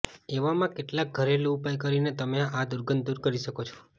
એવામાં કેટલાક ઘરેલું ઉપાય કરીને તમે આ દુર્ગંધ દૂર કરી શકો છો